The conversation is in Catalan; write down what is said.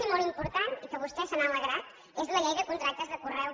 i molt important i que vostè se n’ha alegrat és la llei de contractes de conreu